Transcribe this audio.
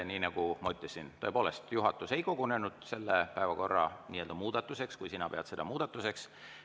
Nii nagu ma ütlesin, tõepoolest, juhatus ei kogunenud selle päevakorra nii-öelda muudatuse tegemiseks, kui sina pead seda muudatuseks.